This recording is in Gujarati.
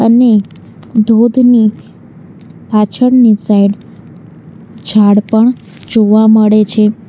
અને ધોતની પાછળની સાઈડ ઝાડ પણ જોવા મળે છે.